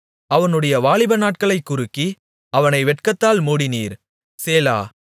அவனுடைய வாலிபநாட்களைக் குறுக்கி அவனை வெட்கத்தால் மூடினீர் சேலா